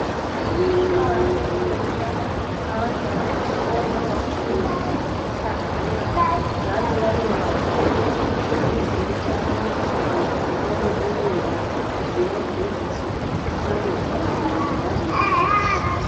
Kuqakathekile ukuba abantwana besikolo bafundiswe ngokuhlanzeka njalo babekwazi ukuthi izitsha abazisebenzisileyo ukudla ziyageziswa zihlale zihlanzekile ngaso sonke isikhathi.